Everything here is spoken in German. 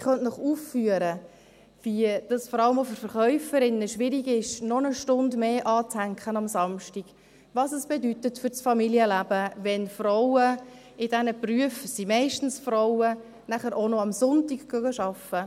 Ich könnte Ihnen aufführen, wie es vor allem auch für Verkäuferinnen schwierig ist, samstags noch eine Stunde mehr anzuhängen, was es für das Familienleben bedeutet, wenn Frauen – in diesen Berufen sind meistens Frauen tätig – auch noch sonntags arbeiten gehen.